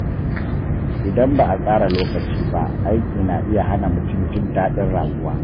Idan ba a tsara lokaci ba, aiki na iya hana mutum jin daɗin rayuwa.